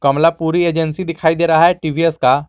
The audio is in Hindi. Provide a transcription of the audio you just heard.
कमला पूरी एजेंसी दिखाई दे रहा है टी_वी_एस का।